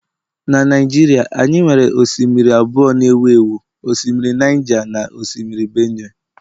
Na Naijiria anyị nwere osimiri abụọ ewu ewu, osimiri Niger na osimiri Benue